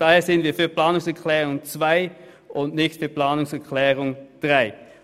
Daher sind wir für die Planungserklärung 2, aber nicht für die Planungserklärung 3.